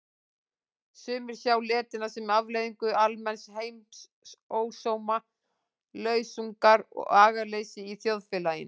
Sumir sjá letina sem afleiðingu almenns heimsósóma, lausungar og agaleysis í þjóðfélaginu.